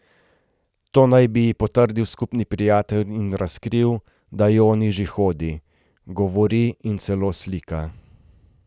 To naj bi ji potrdil skupni prijatelj in razkril, da Joni že hodi, govori in celo slika.